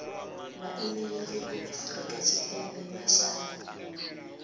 vhaimeli vha afrika tshipembe mashango